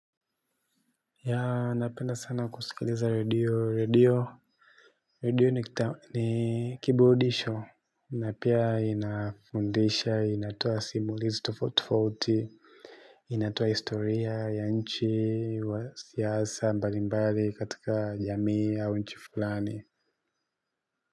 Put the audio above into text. Yeah napenda sana kusikiliza radio radio radio ni kiburudisho na pia inafundisha inatowa simulizi tufauti tofauti inatoa historia ya nchi wa siasa mbalimbali katika jamii au nchi fulani.